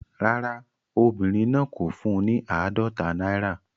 Rárá, obìnrin náà kò fún un ní àádọ́ta náírà.